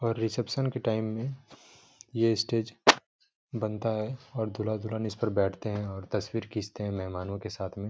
और रिसेप्शन के टाइम में यह स्टेज बनता है और दूल्हा दुल्हन इसपे बैठते है और तस्वीर खींचते है महमानो के साथ में ।